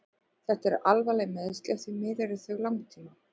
Þetta eru alvarleg meiðsli og því miður eru þau langtíma.